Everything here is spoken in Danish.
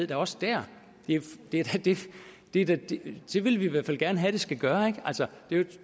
da også der det det vil vi i hvert fald gerne have den skal gøre